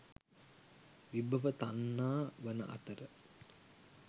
විභව තණ්හා වන අතර,